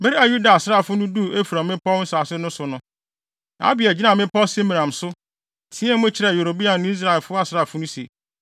Bere a Yuda asraafo no duu Efraim mmepɔw nsase no so no, Abia gyinaa bepɔw Semaraim so, teɛɛ mu kyerɛɛ Yeroboam ne Israelfo asraafo no se, “Muntie me!